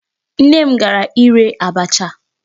Nne m gara ire abacha.